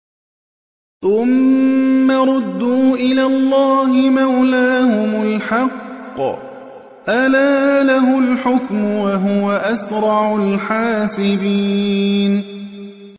ثُمَّ رُدُّوا إِلَى اللَّهِ مَوْلَاهُمُ الْحَقِّ ۚ أَلَا لَهُ الْحُكْمُ وَهُوَ أَسْرَعُ الْحَاسِبِينَ